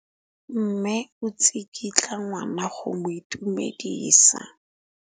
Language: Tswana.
Mme o tsikitla ngwana go mo itumedisa.